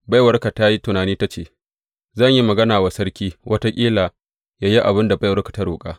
Baiwarka ta yi tunani ta ce, Zan yi magana wa sarki; wataƙila yă yi abin da baiwarsa ta roƙa.